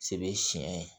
Sebe siɲɛ